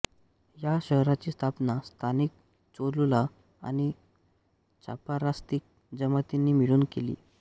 या शहराची स्थापना स्थानिक चोलुला आणि चापारास्तिक जमातींनी मिळून केली